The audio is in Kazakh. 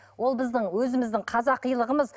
ол біздің өзіміздің қазақилығымыз